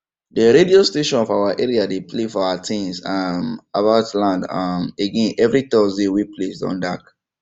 de radio station for our area dey play our tins um about land um again everi thursday wen place don dark